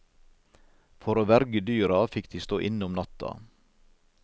For å verge dyra, fikk de stå inne om natta.